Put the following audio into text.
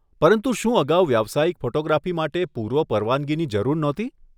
પરંતુ શું અગાઉ વ્યાવસાયિક ફોટોગ્રાફી માટે પૂર્વ પરવાનગીની જરૂર નહોતી?